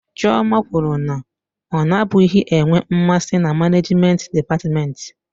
Chioma kwuru na ọ nabụghị enwe mmasị na manejment dịpatmenti.